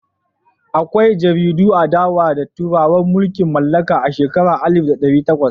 Akwai jaridun adawa da turawan mulkin mallaka a shekarun alif da ɗari takwas.